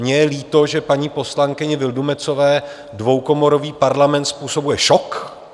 Mně je líto, že paní poslankyni Vildumetzové dvoukomorový Parlament způsobuje šok.